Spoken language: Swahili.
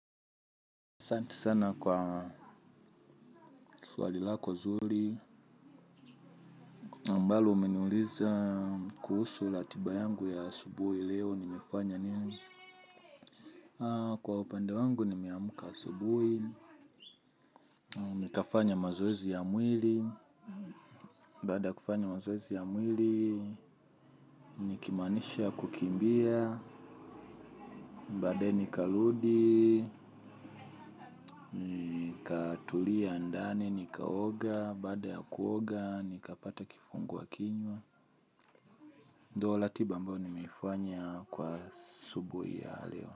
Santi sana kwa swali lako zuli ambalo umeniuliza kuhusu latiba yangu ya asubuhi leo nimefanya nini. Kwa upende wangu nimeamuka asubuhi. Nikafanya mazoezi ya mwili. Baada ya kufanya mazoezi ya mwili nikimaanisha kukimbia. Baadae nikaludi. Nikatulia andani nikaoga. Baada ya kuoga nikapata kifungua kinywa. Ndo latiba ambayo nimeifanya kwa asubui ya leo.